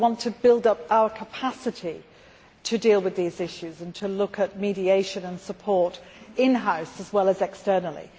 I want to build up our capacity to deal with these issues and to look at mediation and support in house as well as externally.